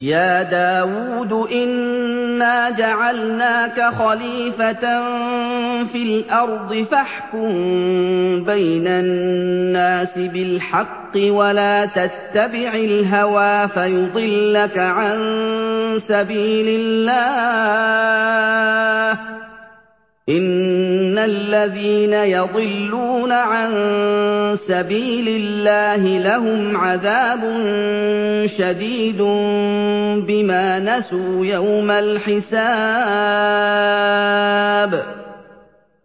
يَا دَاوُودُ إِنَّا جَعَلْنَاكَ خَلِيفَةً فِي الْأَرْضِ فَاحْكُم بَيْنَ النَّاسِ بِالْحَقِّ وَلَا تَتَّبِعِ الْهَوَىٰ فَيُضِلَّكَ عَن سَبِيلِ اللَّهِ ۚ إِنَّ الَّذِينَ يَضِلُّونَ عَن سَبِيلِ اللَّهِ لَهُمْ عَذَابٌ شَدِيدٌ بِمَا نَسُوا يَوْمَ الْحِسَابِ